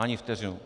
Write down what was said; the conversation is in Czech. Ani vteřinu!